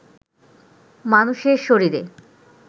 মানুষের শরীরে